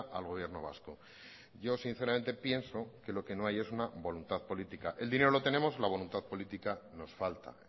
al gobierno vasco yo sinceramente pienso que lo que no hay es una voluntad política el dinero lo tenemos la voluntad política nos falta